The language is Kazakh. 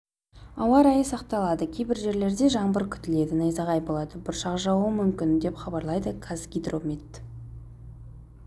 ауа райы сақталады кей жерлерде жаңбыр күтіледі найзағай болады бұршақ жаууы мүмкін деп хабарлайды қазгидромет